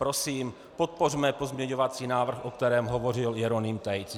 Prosím, podpořme pozměňovací návrh, o kterém hovořil Jeroným Tejc.